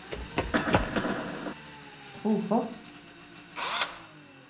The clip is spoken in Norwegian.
Trofors